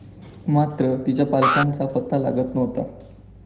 मात्र तिच्या पालकांचा पत्ता लागत नव्हता.